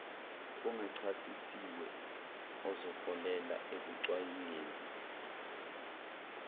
ongachasisiwe ozoholela ekucwaingweni